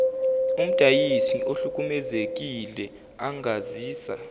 umdayisi ohlukumezekile angazisa